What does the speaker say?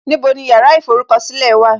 Níbo ni yàrá ìforúkọ̀sílẹ̀ wà?